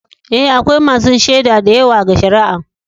Eh, akwai masun shaidu da yawa ga shari'an.